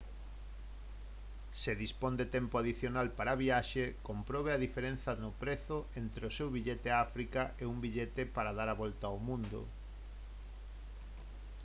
se dispón de tempo adicional para a viaxe comprobe a diferenza no prezo entre o seu billete a áfrica e un billete para dar a volta ao mundo